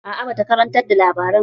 A'a ba ta gabatar da labaran ba